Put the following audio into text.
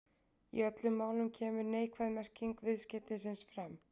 Í öllum málunum kemur neikvæð merking viðskeytisins fram.